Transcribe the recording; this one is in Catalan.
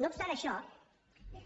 no obstant això